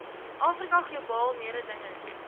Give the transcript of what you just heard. afrika globaal mededingend